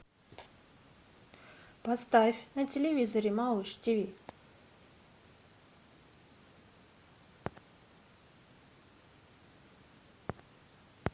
поставь на телевизоре малыш тиви